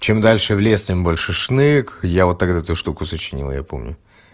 чем дальше в лес тем больше шнек я вот эту штуку сочинил я помню